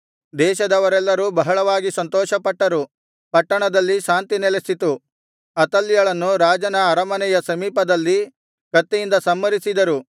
ದೇಶದವರೆಲ್ಲರೂ ಬಹಳವಾಗಿ ಸಂತೋಷಪಟ್ಟರು ಪಟ್ಟಣದಲ್ಲಿ ಶಾಂತಿ ನೆಲೆಸಿತು ಅತಲ್ಯಳನ್ನು ರಾಜನ ಅರಮನೆಯ ಸಮೀಪದಲ್ಲಿ ಕತ್ತಿಯಿಂದ ಸಂಹರಿಸಿದರು